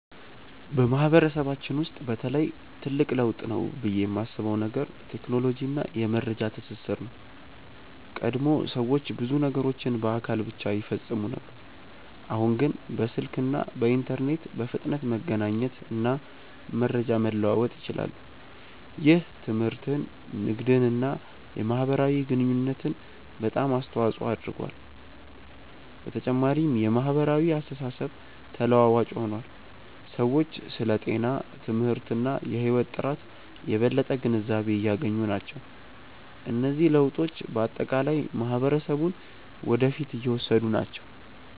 በማህበረሰባችን ውስጥ በተለይ ትልቅ ለውጥ ነው ብዬ የማስበው ነገር ቴክኖሎጂ እና የመረጃ ትስስር ነው። ቀድሞ ሰዎች ብዙ ነገሮችን በአካል ብቻ ይፈጽሙ ነበር፣ አሁን ግን በስልክ እና በኢንተርኔት በፍጥነት መገናኘት እና መረጃ መለዋወጥ ይችላሉ። ይህ ትምህርትን፣ ንግድን እና የማህበራዊ ግንኙነትን በጣም አስተዋፅኦ አድርጓል። በተጨማሪም የማህበራዊ አስተሳሰብ ተለዋዋጭ ሆኗል፤ ሰዎች ስለ ጤና፣ ትምህርት እና የህይወት ጥራት የበለጠ ግንዛቤ እያገኙ ናቸው። እነዚህ ለውጦች በአጠቃላይ ማህበረሰቡን ወደ ፊት እየወሰዱ ናቸው።